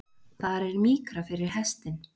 Þar er mýkra fyrir hestinn.